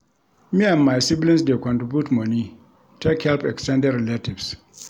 Me and my siblings dey contribute moni take help ex ten ded relatives.